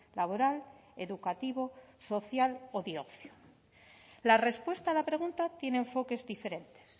laboral educativo social o de ocio la respuesta a la pregunta tiene enfoques diferentes